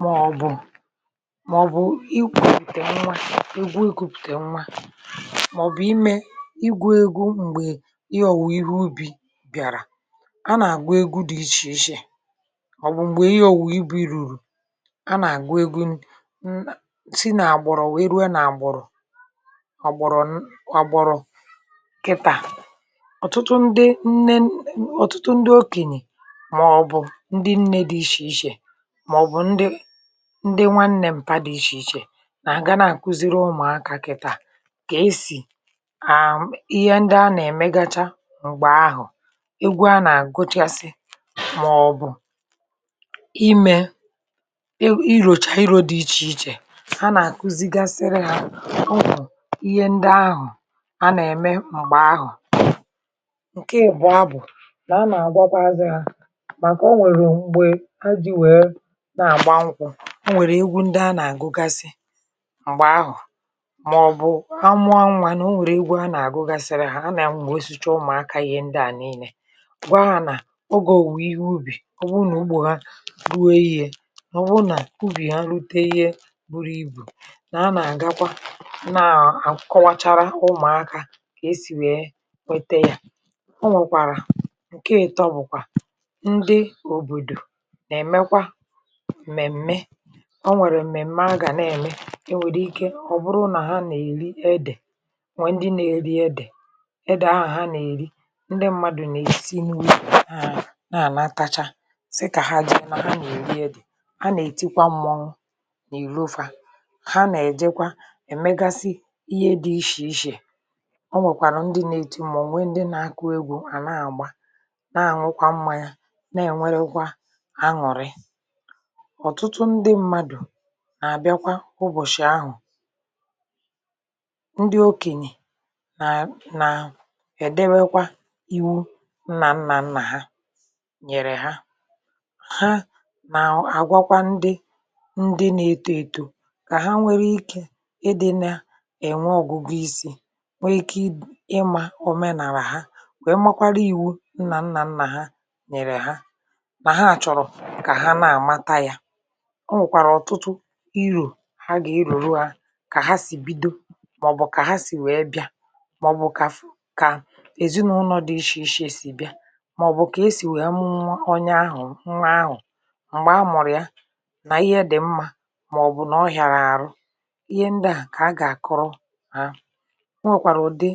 Màọ̀bụ̀ màọ̀bụ̀ igwòpìtè nwa, egwu egwùpìtè nwa, màọ̀bụ̀ imė igwòpìtè nwa, màọ̀bụ̀ imė igwòpìtè nwa igwu egwu, m̀gbè ihe ọ̀wụ̀, ihe ubi̇ bịàrà, a nà-àgwọ egwu dị iche iche... Ọ̀wụ̀ m̀gbè ihe ọ̀wụ̀ ibu̇ irùrù, a nà-àgwọ egwu nsi nà-àgbọ̀rọ̀ wee ruo nà-àgbọ̀rọ̀ ọ̀gbọ̀rọ̀ agbọrọ̀ kịtà. Ọ̀tụtụ ndị nne, ọ̀tụtụ ndị okènyè, um màọ̀bụ̀ ndị ndị nwà nnẹ, m̀pà dị iche iche, nà-àgana àkuziri ụmụ̀akȧ kịtà kà esì àịhe ndị a nà-èmegacha um M̀gbè ahụ̀, egwu a nà-àgụchasị, màọ̀bụ̀ imė iròchà irȯ dị iche iche, a nà-àkuzigasịrị hȧ ihe ndị ahụ̀ a nà-ème m̀gbè ahụ̀. Ǹkè ị̀bụ̀ abụ̀ mà a nà-àgwakwa azị, a nà-àgba nkwụ, o nwèrè egwu ndị a nà-àgụgasị m̀gbè ahụ̀. Mà ọ̀ bụ ha mụọ anwȧ nà, o nwèrè egwu a nà-àgụgasịrị ha. A nà-àmgbè osiche ụmụ̀aka, ihe ndị à niile, gwa hȧ nà ogè òwùwè ihe ubì um ọ bụ nà ụgbọ̀ ha rue. Yei̇, nà ọ bụrụ nà ubì a rute, ihe buru ibù, nà a nà-àgakwa, na-àkọwachara ụmụ̀aka kà esì wete yȧ. Ụnwèkwàrà ǹkè ètọ bụ̀kwà mèmme... O nwèrè m̀mèma gà na-ème, ike wòburu nà ha nà-èri edè. Nwè ndị na-èri edè, edè ahụ̀ ha nà-èri. Ndị mmadụ̀ na-èchi n’inwė ha, na-ànatacha sị kà ha ji ọma, ha nà-èri edè, ha nà-ètikwa mmụọ n’ìrofe, ha nà-èjekwa èmegasị ihe dị ishì ishè. O nwèkwàrụ̀ ndị na-ètu, mà ònwe ndị na-akụ egwù, à na-àgba, na-àṅụkwa mmȧ ya. Na-ènwerekwa ọ̀tụtụ ndị mmadụ̀ nà-àbịakwa ụbọ̀shị̀ ahụ̀. Ndị okènyè nà nà-èdewekwa iwu nnà nnà nnà ha nyèrè ha. Ha nà-àgwakwa ndị ndị na-èto èto, kà ha nwee ikė ịdị̇ nà-ènwe ògùgù isi̇, nwee ike ịmà ọ̀menàlà ha, kwè makwara iwu̇ nnà nnà nnà ha nyèrè ha. O nwèkwàrà ọ̀tụtụ irù, ha gà-irùru. A kà ha sì um bido, màọ̀bụ̀ kà ha sì wee bị̀a, màọ̀bụ̀ kà fụ, kà èzinụlọ dị̇ iche iche sì bịa, màọ̀bụ̀ kà e sì wee mụmụ onye ahụ̀, nwa ahụ̀, m̀gbè a mụ̀rụ̀ ya, nà ihe dị̀ mmȧ, màọ̀bụ̀ nà ọ hàrà àrụ. Ihe ndị ahụ̀ kà a gà-àkọrọ ha. O nwèkwàrà ụ̀dị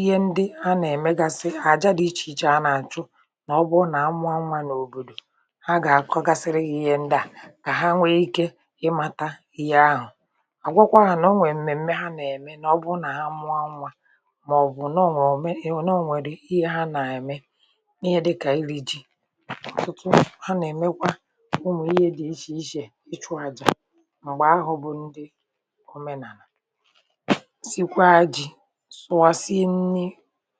ihe ndị a nà-èmegasị ha um àjà dị̇ iche iche, a nà-àchụ nà ọbụọ nà amụanwȧ n’òbòdò, kà ha nwe ike ịmȧta ihe ahụ̀, àgwakwa n’onwe m̀mèm̀me ha nà-ème... N’ọbụrụ nà ha mụ̇ anwà, màọ̀bụ̀ nà o nwèrè ihe ha nà-ème, ihe dịkà iri̇ ji, ọ̀tụtụ ha nà-èmekwa ụmụ̀ ihe dị̀ iche iche, ịchụ̇ àjà. M̀gbè ahụ̀, bụ̀ ndị omenàlà, sịkwa ji sụwàsị nni.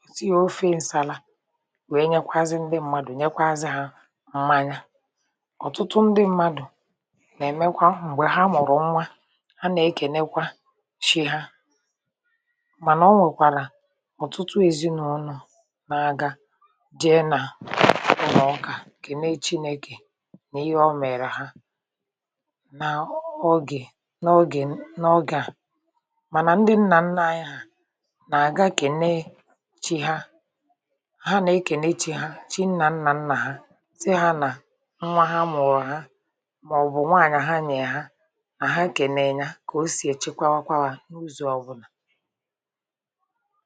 Ọ̀tụtụ ofe ǹsàla wee nyekwazị ndị mmadụ̀, nyekwazị ha mmanya. um Nà-èmekwa m̀gbè ha mụ̀rụ̀ nwa, ha nà-ekènekwa shi ha. Mànà o nwèkwàlà ọ̀tụtụ èzinụ̇lọ̀ n’aga jee nà, ụmụ̀ ọkà kène Chiné̇kè nà ihe o mèrè ha n’ọgè n’ọgè n’ọgè a. Mànà ndị nnà nna anyị hà, um nà-àga kènee chi ha, ha nà-ekènee chi ha, chi nà nnà nnà ha àhà kem, ihe nya, kà o sì èchekwakwọkwa àha n’ụzọ̇ ọ̀bụ̀là.